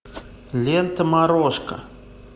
лента морошка